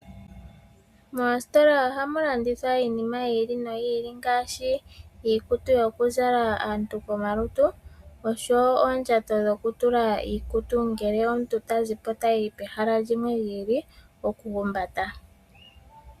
Moositola ohamu landithwa iinima yi ili noyi ili ngaashi iikutu yokuzala aantu komalutu osho wo oondjato dhoku tula iikutu ngele omuntu tazi po tayi pehala limwe lyi ili, oku humbata.